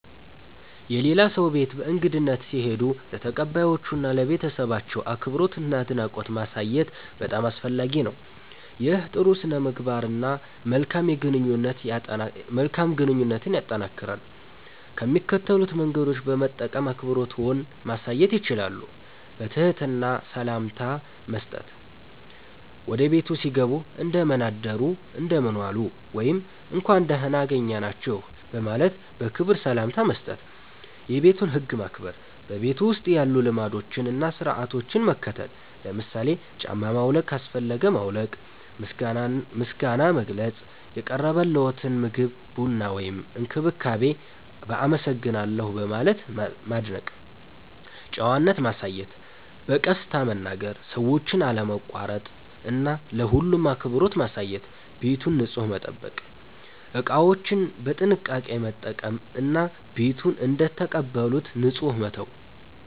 የሌላ ሰው ቤት በእንግድነት ሲሄዱ ለተቀባዮቹ እና ለቤተሰባቸው አክብሮትና አድናቆት ማሳየት በጣም አስፈላጊ ነው። ይህ ጥሩ ሥነ-ምግባርን እና መልካም ግንኙነትን ያጠናክራል። ከሚከተሉት መንገዶች በመጠቀም አክብሮትዎን ማሳየት ይችላሉ፦ በትህትና ሰላምታ መስጠት – ወደ ቤቱ ሲገቡ “እንደምን አደሩ/ዋሉ” ወይም “እንኳን ደህና አገኘናችሁ” በማለት በክብር ሰላምታ መስጠት። የቤቱን ህግ ማክበር – በቤቱ ውስጥ ያሉ ልማዶችን እና ሥርዓቶችን መከተል። ለምሳሌ ጫማ ማውለቅ ካስፈለገ ማውለቅ። ምስጋና መግለጽ – የቀረበልዎትን ምግብ፣ ቡና ወይም እንክብካቤ በ“አመሰግናለሁ” በማለት ማድነቅ። ጨዋነት ማሳየት – በቀስታ መናገር፣ ሰዎችን አለማቋረጥ እና ለሁሉም አክብሮት ማሳየት። ቤቱን ንጹህ መጠበቅ – እቃዎችን በጥንቃቄ መጠቀም እና ቤቱን እንደተቀበሉት ንጹህ መተው።